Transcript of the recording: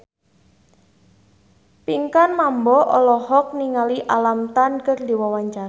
Pinkan Mambo olohok ningali Alam Tam keur diwawancara